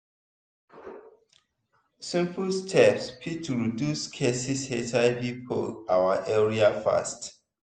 simple steps fit reduce cases hiv for our area fast.